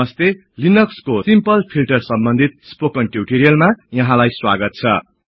hello लिनक्सको simple filter समबन्धित spoken ट्युटोरियलमा यहाँलाई स्वागत छ